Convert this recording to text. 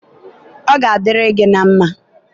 ọ ga adịrị gị na mmá.